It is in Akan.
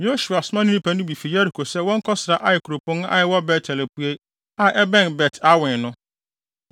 Yosua somaa ne nnipa no bi fi Yeriko sɛ wɔnkɔsra Ai kuropɔn a ɛwɔ Bet-El apuei a ɛbɛn Bet-Awen no.